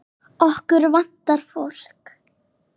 Okkur vantar fólk.